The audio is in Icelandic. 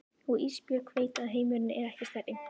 Og Ísbjörg veit að heimurinn er ekki stærri.